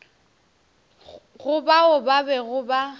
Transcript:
go bao ba bego ba